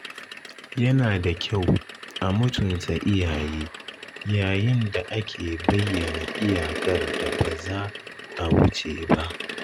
Yana da kyau a mutunta iyaye yayin da ake bayyana iyakar da ba za a wuce ba.